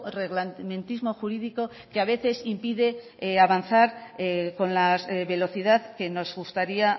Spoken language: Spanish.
reglamentismo jurídico que a veces impide avanzar con las velocidad que nos gustaría